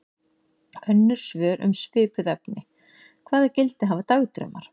Önnur svör um svipuð efni: Hvaða gildi hafa dagdraumar?